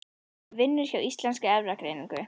Hún vinnur hjá Íslenskri erfðagreiningu.